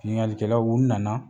Biŋalikɛlaw u nana